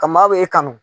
Ka maa bɛ e kanu